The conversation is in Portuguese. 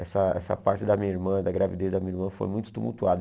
Essa essa parte da minha irmã, da gravidez da minha irmã, foi muito tumultuada.